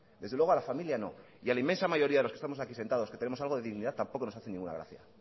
desde luego a la familia no y a la inmensa mayoría de los que estamos aquí sentados que tenemos algo de dignidad tampoco nos hace ninguna gracia